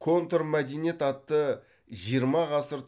контрмәдениет атты жиырма ғасыр